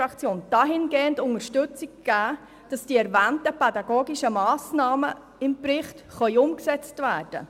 Ein solcher Leidensdruck ist durchaus vorhanden, sei es bei Lehrpersonen, bei den Eltern oder bei den betroffenen Kindern.